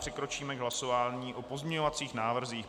Přikročíme k hlasování o pozměňovacích návrzích.